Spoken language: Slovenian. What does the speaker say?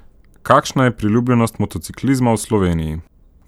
Kakšna je priljubljenost motociklizma v Sloveniji?